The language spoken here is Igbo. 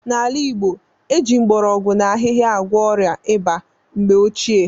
N'ala Igbo, e ji mgbọrọgwụ na ahịhịa agwọ ọrịa ịba mgbe ochie.